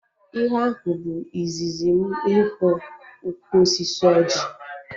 Ihe ahụ bụ izizi m ịhụ ukwu osisi ọjị